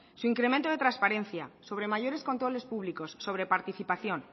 su incremento de transparencia sobre mayores controles públicos sobre participación